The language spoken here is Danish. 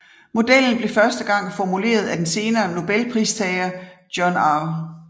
Modellen blev første gang formuleret af den senere Nobelpristager John R